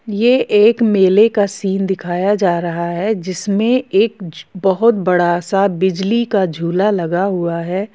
ये एक मेले का सीन दिखाया जा रहा है जिसमें एक बोहोत बड़ा सा बिजली का झूला लगा हुआ है।